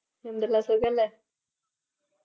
എന്തെല്ലാ സുഖല്ലേ